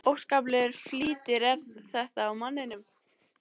Óskaplegur flýtir er þetta á manninum.